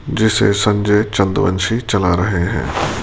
जैसे संजय चंद्रवंशी चला रहे हैं।